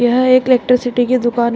यह एक इलेक्ट्रिसिटी की दुकान है।